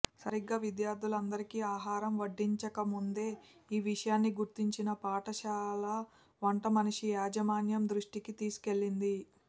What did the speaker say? సరిగ్గా విద్యార్థులందరికీ ఆహారం వడ్డించకముందే ఈ విషయాన్ని గుర్తించిన పాఠశాల వంటమనిషి యాజమాన్యం దృష్టికి తీసుకెళ్లింది